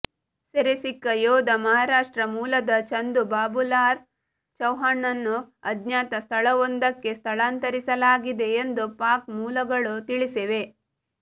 ಸೆರೆಸಿಕ್ಕ ಯೋಧ ಮಹಾರಾಷ್ಟ್ರ ಮೂಲದ ಚಂದು ಬಾಬೂಲಾಲ್ ಚೌಹಾಣ್ನನ್ನು ಅಜ್ಞಾತ ಸ್ಥಳವೊಂದಕ್ಕೆ ಸ್ಥಳಾಂತರಿಸಲಾಗಿದೆ ಎಂದು ಪಾಕ್ ಮೂಲಗಳು ತಿಳಿಸಿವೆ